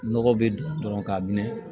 Nɔgɔ be don dɔrɔn ka minɛ